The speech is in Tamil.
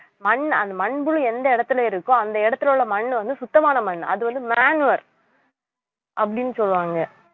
மண் அந்த மண்புழு எந்த இடத்துல இருக்கோ அந்த இடத்துல உள்ள மண் வந்து சுத்தமான மண் அது வந்து manure அப்படின்னு சொல்லுவாங்க